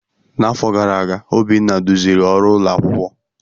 N'afọ gara aga, Obinna duziri ọrụ ụlọ akwụkwọ.